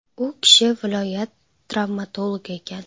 U kishi viloyat travmatologi ekan.